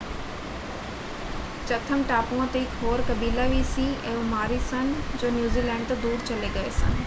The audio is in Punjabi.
ਚਥਮ ਟਾਪੂਆਂ ‘ਤੇ ਇੱਕ ਹੋਰ ਕਬੀਲਾ ਵੀ ਸੀ ਇਹ ਮਾਓਰੀ ਸਨ ਜੋ ਨਿਊਜ਼ੀਲੈਂਡ ਤੋਂ ਦੂਰ ਚਲੇ ਗਏ ਸਨ।